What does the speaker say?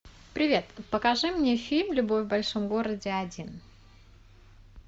привет покажи мне фильм любовь в большом городе один